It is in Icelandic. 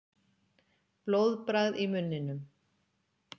Blóðbragð í munninum.